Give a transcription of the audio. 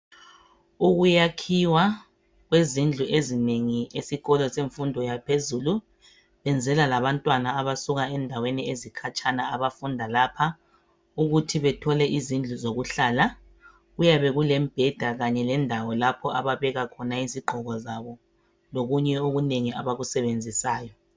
Ukuyakhiwa kwezindlu ezinengi esikolo semfundo yaphezulu benzela labantwana abasuka endaweni ezikhatshana abafunda lapha ukuthi bethole izindlu zokuhlala kuyabe kulembheda kanye lendawo lapho ababeka khona izigqoko zabo lokunye okunengi abakusebenzisayo.